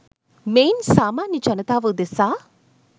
මෙයින් සාමාන්‍ය ජනතාව උදෙසා